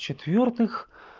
в-четвёртых